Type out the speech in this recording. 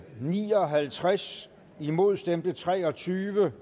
ni og halvtreds imod stemte tre og tyve